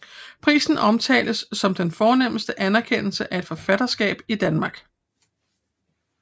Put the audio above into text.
Prisen omtales som den fornemste anerkendelse af et forfatterskab i Danmark